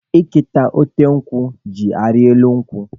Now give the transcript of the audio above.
Ete ka ote nkwụ jị arị elu nkwụ.